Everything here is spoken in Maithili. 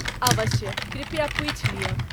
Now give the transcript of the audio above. अवश्य। कृपया पूछि लिय।